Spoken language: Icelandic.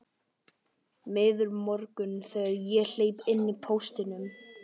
Miður morgunn þegar ég hleypi inn póstinum.